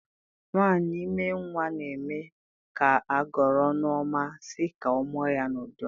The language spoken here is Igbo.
Nwanyị ime nwa n'eme ka agọrọ ọnụ ọma sị ka ọ mụọ nwa ya n'udo